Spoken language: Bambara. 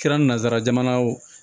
Kɛra nanzara jamana ye o